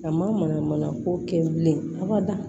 A ma mana mana ko kɛ bilen abada